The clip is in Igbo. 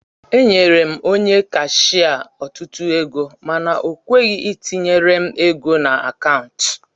Enyere m Onye kashia otutu ego mana okweghi itinyere m ego na akaụntu